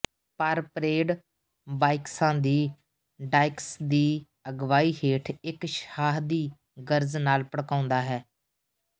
ਪਰ ਪਰੇਡ ਬਾਈਕਸਾਂ ਦੀ ਡਾਇਕਸ ਦੀ ਅਗਵਾਈ ਹੇਠ ਇਕ ਸ਼ਾਹਦੀ ਗਰਜ ਨਾਲ ਭੜਕਾਉਂਦਾ ਹੈ